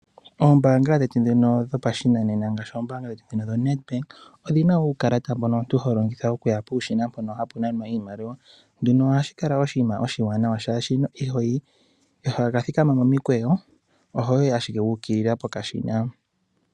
Oombaanga dhetu dhopashinanena ngaashi ombaanga yoNedbank odhina uukalata, mboka omuntu to vulu okulongitha, mpono hapu nanwa iimaliwa. Ohashi kala oshinima oshiwanawa oshoka omuntu ihoka thikama momukweyo ohoyi ashike wu ukilila pokashina.